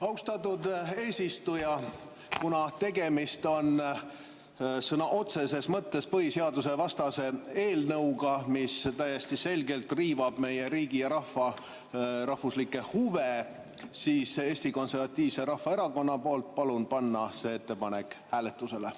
Austatud eesistuja, kuna tegemist on sõna otseses mõttes põhiseadusevastase eelnõuga, mis täiesti selgelt riivab meie riigi ja rahva rahvuslikke huve, siis Eesti Konservatiivse Rahvaerakonna poolt palun panna see ettepanek hääletusele.